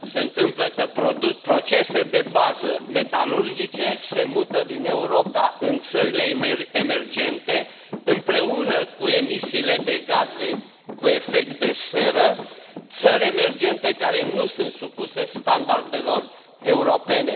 Se întâmplă că procese de bază metalurgice se mută din Europa în țările emergente împreună cu emisiile de gaze cu efect de seră, țări emergente care nu sunt supuse standardelor europene.